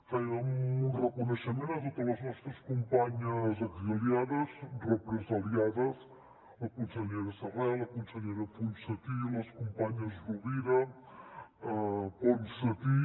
fem un reconeixement a totes les nostres companyes exiliades represaliades la consellera serret la consellera ponsatí les companyes rovira ponsatí